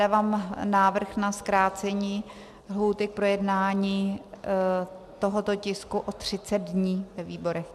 Dávám návrh na zkrácení lhůty k projednání tohoto tisku o 30 dní ve výborech.